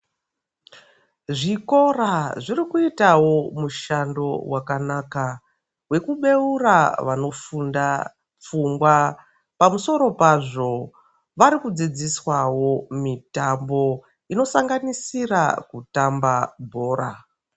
Zvikora zvirikuitavo mushando wakanaka vekubeura vanofunda pfungwa. Pamusiro pazvo varikudzidziswavo mitambo inosanganisira kutamba bhora.